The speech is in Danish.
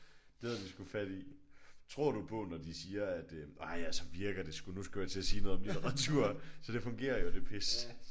Det havde de sgu fat i. Tror du på når de siger at øh ej så virker det sgu nu skulle jeg til at sige noget om litteratur. Så det fungerer jo det pis